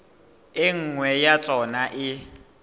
e nngwe ya tsona e